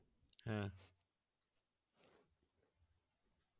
হ্যাঁ